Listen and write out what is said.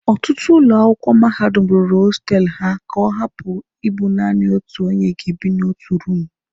Ọtụtụ ụlọ akwụkwọ mahadum rụrụ hostelụ ha ka ọ hapụ ịbụ naanị otu onye ga-ebi na otu room